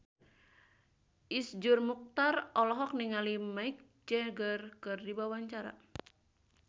Iszur Muchtar olohok ningali Mick Jagger keur diwawancara